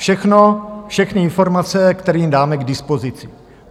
Všechno, všechny informace, které jim dáme k dispozici.